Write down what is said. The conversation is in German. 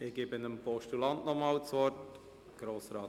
Ich gebe dem Postulanten nochmals das Wort.